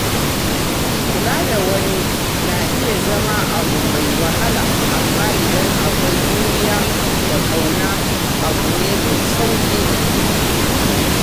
Kula da wani na iya zama abu mai wahala, amma idan akwai juriya da ƙauna abu ne mai sauƙi.